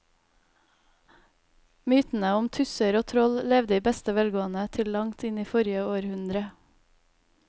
Mytene om tusser og troll levde i beste velgående til langt inn i forrige århundre.